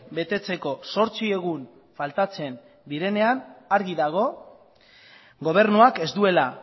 betetzeko zortzi egun faltatzen direnean argi dago gobernuak ez duela